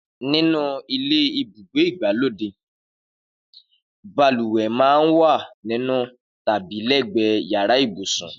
Nínú ilé ibùgbé ìgbàlódé, balùwẹ̀ máa ń wà nínú tàbí lẹ́gbẹ̀ẹ́ yàrá ibùsùn